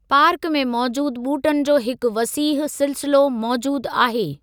Park में मौजूदु ॿूटनि जो हिकु वसीह सिलसिलो मौजूदु आहे।